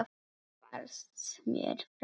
Hvarfst mér frá.